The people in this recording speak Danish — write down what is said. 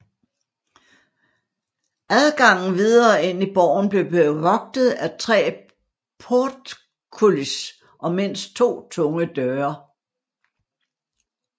Adgangen videre ind i borgen blev bevogtet af tre portcullis og mindst to tunge døre